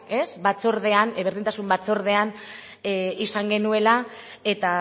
berdintasun batzordean izan genuela eta